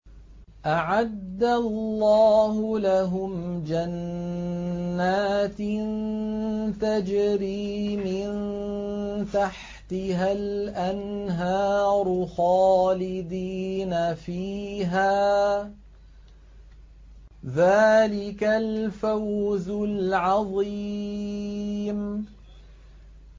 أَعَدَّ اللَّهُ لَهُمْ جَنَّاتٍ تَجْرِي مِن تَحْتِهَا الْأَنْهَارُ خَالِدِينَ فِيهَا ۚ ذَٰلِكَ الْفَوْزُ الْعَظِيمُ